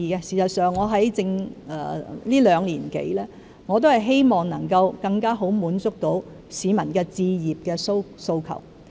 事實上，我在這兩年多以來，一直希望能夠更好地滿足市民置業的訴求。